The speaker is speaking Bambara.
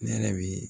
Ne yɛrɛ bi